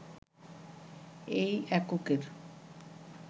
এই এককের